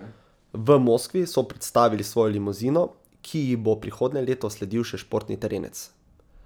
V Moskvi so predstavili svojo limuzino, ki ji bo prihodnje leto sledil še športni terenec.